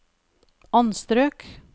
anstrøk